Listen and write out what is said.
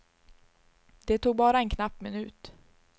Det tog bara en knapp minut.